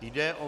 Jde o